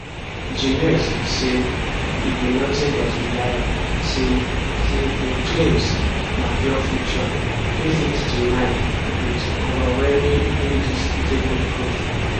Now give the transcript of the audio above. jnes say e be nothing but a liar say say im claims na pure fiction wey fit denied wit overwhelming indisputable proof